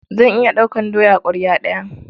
Zan iya ɗaukar doya ƙwarya ɗaya.